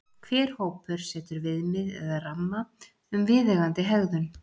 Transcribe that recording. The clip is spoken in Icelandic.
Hver hópur setur viðmið eða ramma um viðeigandi hegðun.